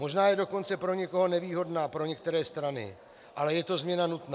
Možná je dokonce pro někoho nevýhodná, pro některé strany, ale je to změna nutná.